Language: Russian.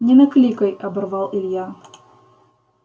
не накликай оборвал илья